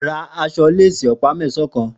Rà àṣọ̀ lésì òpá mẹsãn lọ̀lá